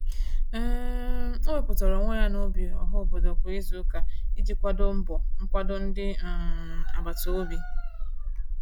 um O wepụtara onwe ya n'ubi ọhaobodo kwa izuụka iji kwado mbọ nkwado ndị um agbataobi.